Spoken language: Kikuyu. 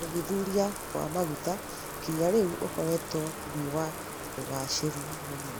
ũthuthuria wa maguta nginya rĩu ũkoretwo wĩ wa ũgacĩru mũnini